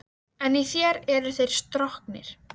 Ekkert skal minna hana á hann.